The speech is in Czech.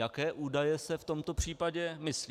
Jaké údaje se v tomto případě myslí?